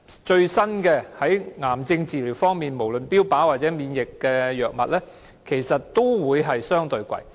在癌症治療方面，無論是最新的標靶或免疫藥物，其實也相對地昂貴。